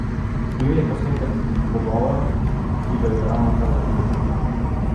Bil je posnetek pogovora, ki ga je ravnokar zaključil.